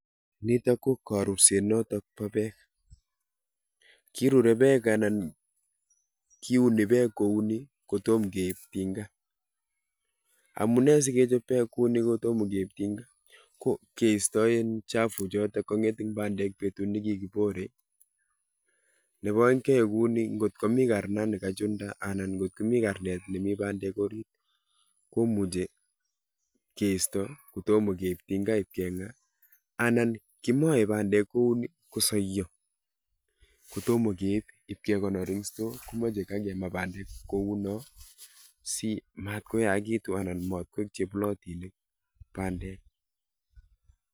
Nitok ko karurset notok bo pek. kirurei pek anan kiuni pek kou ni kotom keip tinga. Amune sikechop pek kou ni kotom keip tinga?ko keisto chafuk chotok cheking'et eng pandek betut neki kiborei. Nebo oeng keyaei kou ni, kot komi karna ne kachunda, ngot komi karnet nemi pandek orit, komuchei keisto kotoma keip tinga ip keng'a. Anan kimoei pandek kouni kosoiyo kotoma keip ibke konor eng store komachei kakema pandek koyomyo komie simatkoyakitu anan matkoek chepulotinik pandek.